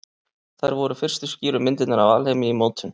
Þær voru fyrstu skýru myndirnar af alheimi í mótun.